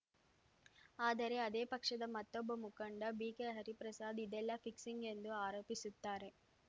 ಆದರೆ ಅದೇ ಪಕ್ಷದ ಮತ್ತೊಬ್ಬ ಮುಖಂಡ ಬಿಕೆ ಹರಿಪ್ರಸಾದ್ ಇದೆಲ್ಲಾ ಫಿಕ್ಸಿಂಗ್ ಎಂದು ಆರೋಪಿಸುತ್ತಾರೆ